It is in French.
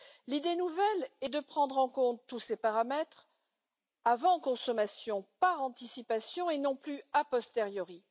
L'idée nouvelle est de prendre en compte tous ces paramètres avant consommation, par anticipation, et non plus a posteriori.